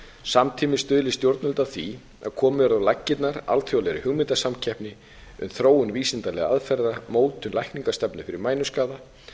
samtímis stuðli stjórnvöld að því að komið verði á laggirnar alþjóðlegri hugmyndasamkeppni um þróun vísindalegra aðferða og mótun lækningastefnu fyrir mænuskaða